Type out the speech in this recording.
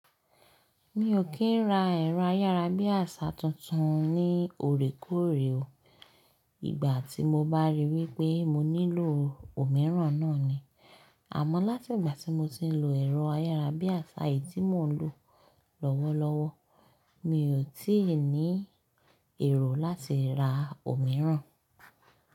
Mi ò kí ń ra ẹ̀rọ ayárabíàṣá tuntun ní ọ̀rẹ́ kóòrè o. Ìgbà tí mo bá rí wípé mo nílò òmíràn náà ni. Àmọ́ láti ìgbà tí mo ti ń lo ẹ̀rọ ayárabíàṣá yìí tí mò ń lò lọ́wọ́lọ́wọ́, mi ò tí ì ní èrò láti ra òmíràn.